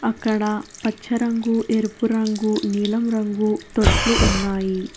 అక్కడ పచ్చ రంగు ఎరుపు రంగు నీలం రంగు తొట్లు ఉన్నాయి.